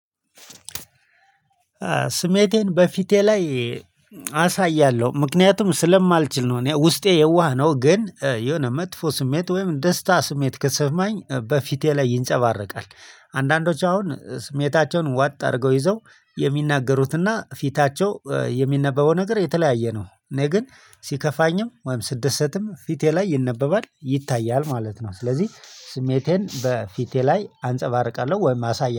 ስሜቴን በፊቴ ላይ አሳያለሁ ምክንያቱም ስለማልችል ነው እኔ ውስጤ የዋህ ነው ግን የሆነ መጥፎ ስሜት ወይም ደስታ ስሜት ከተሰማኝ በፊቴ ላይ ይንጸባረቃል። አንዳንዶች አሁን ስሜታቸውን ዋጥ አድርገው ይዘው የሚናገሩትና ፊታቸው የሚነበበው ነገር የተለያየ ነው። እኔ ግን ሲከፋኝም ወይም ስደሰትም ፊቴ ላይ ይነበባል ይታያል ማለት ነው። ስለዚህ ስሜቴን በፊቴ ላይ አንፀባርቃለሁ ወይም አሳያለሁ